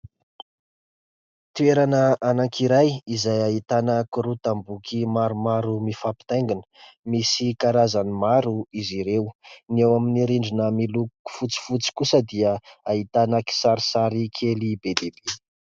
Toerana anankiray izay ahitana korotam-boky maromaro mifampitaingina. Misy karazany maro izy ireo. Ny ao amin'ny rindrina miloko fotsifotsy kosa dia ahitana kisarisary kely be dia be.